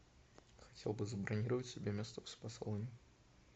хотел бы забронировать себе место в спа салон